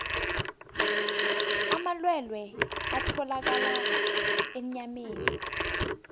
amalwelwe atholakala enyameni